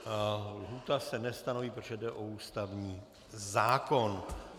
Lhůta se nestanoví, protože jde o ústavní zákon.